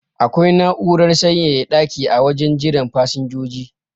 Akwai na'urar sanyaya daki a wajen jiran fasinjoji